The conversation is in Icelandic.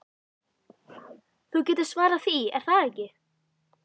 Þú getur svarað því, er það ekki?